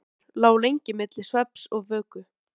Bið varð á því, að Íslendingar endurheimtu flugkappann.